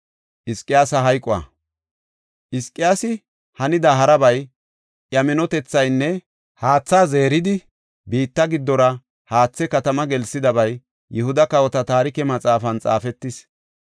Hizqiyaasi hanida harabay, iya minotethaynne haatha zeeridi, biitta giddora haathe katama gelsidabay Yihuda kawota Taarike Maxaafan xaafetis.